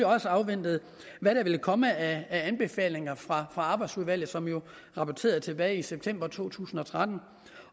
også har afventet hvad der vil komme af anbefalinger fra arbejdsudvalget som jo rapporterede tilbage i september to tusind og tretten